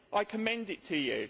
I commend it to you.